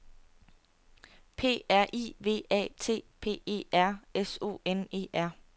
P R I V A T P E R S O N E R